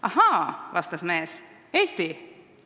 "Ahaa," vastas mees, "Eesti!